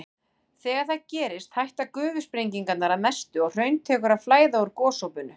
Þegar það gerist hætta gufusprengingarnar að mestu og hraun tekur að flæða úr gosopinu.